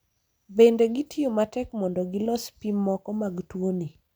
bende gitiyo matek mondo gilos pim moko mag tuoni